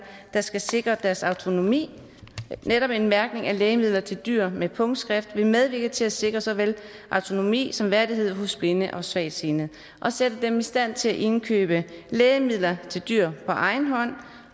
der skal sikre deres autonomi netop en mærkning af lægemidler til dyr med punktskrift vil medvirke til at sikre såvel autonomi som værdighed hos blinde og svagtseende og sætte dem i stand til at indkøbe lægemidler til dyr på egen hånd